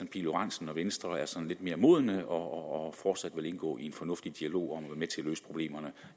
pihl lorentzen og venstre være sådan lidt mere modne og fortsat indgå i en fornuftig dialog om at være med til at løse problemerne